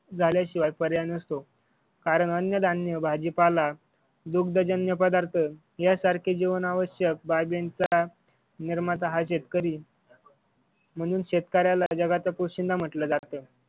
झाल्या शिवाय पर्याय नसतो कारण अन्न-धान्य भाजीपाला दुग्धजन्य पदार्थ या सारखे जीवनावश्यक बाबींचा निर्माता हा शेतकरी म्हणून शेतकऱ्याला जगाचा पोशिंदा म्हटला जातो.